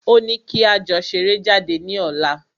Ó ní kí a jọ ṣeré jáde ní ọ̀la.